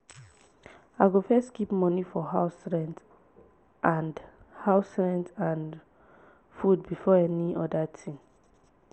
i go first keep money for house rent and house rent and food before any other thing.